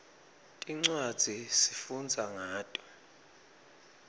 tincwadzi sifundza ngato